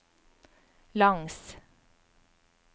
langs